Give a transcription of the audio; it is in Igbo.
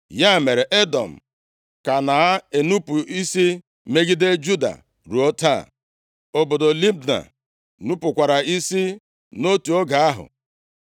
Ya mere, Edọm ka na-enupu isi megide Juda, ruo taa. Obodo Libna nupukwara isi nʼotu oge ahụ.